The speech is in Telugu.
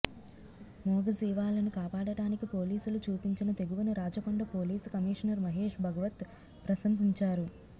మూగజీవాలను కాపాడటానికి పోలీసులు చూపించిన తెగువను రాచకొండ పోలీస్ కమిషనర్ మహేష్ భగవత్ ప్రశంసించారు